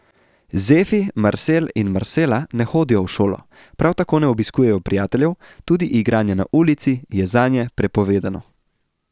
Zefi, Marsel in Marsela ne hodijo v šolo, prav tako ne obiskujejo prijateljev, tudi igranje na ulici je zanje prepovedano.